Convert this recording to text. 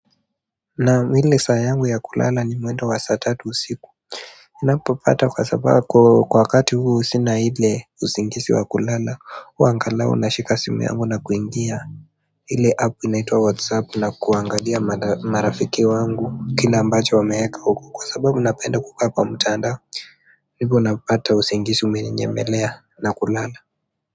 Naam ile saa yangu ya kulala ni mwendo wa saa tatu usiku ninapo kata kwa sababu kwa wakati huo sina ile usingizi wa kulala huwa angalau nashika simu yangu na kuingia ile app inaitwa WhatsApp na kuangalia marafiki wangu kile ambacho wameweka huko kwa sababu napenda kukaa kwa mtandao ndipo napata usingizi umeninyemelea na kulala.